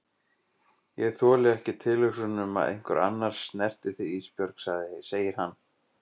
Ég þoli ekki tilhugsunina um að einhver annar snerti þig Ísbjörg, segir hann.